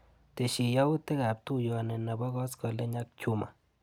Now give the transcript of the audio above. Tesyi yautikab tuiyoni nebo koskoliny ak Juma.